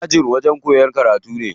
Aji wajen koyan karatu ne.